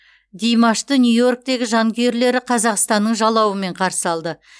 димашты нью иорктегі жанкүйерлері қазақстанның жалауымен қарсы алды